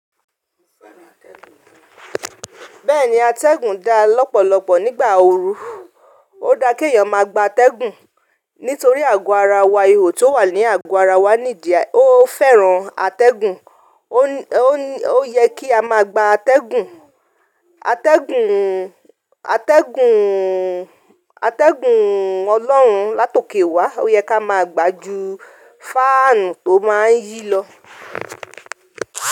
Bẹ́ẹ̀ni atẹ́gùn da lọ́pọ̀lọpọ̀ nígbà ooru, ó da ke èèyàn má gba atẹ́gùn nítorí àgọ́ ara wa ihò tó wà ní àgọ́ ara wa níìdí, ó fẹ́ràn atẹ́gùn, ó yẹ kí a má gba atẹ́gùn, atẹ́gùn, atẹ́gùn, atẹ́gùn Ọlọ́run látòké wa, ó yẹ ká má gbà ju faanu to máa ń yí lọ.